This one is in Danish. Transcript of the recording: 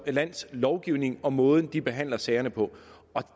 lands lovgivning og måden de behandler sagerne på og